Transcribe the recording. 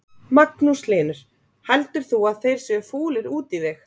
Magnús Hlynur: Heldur þú að þeir séu fúlir út í þig?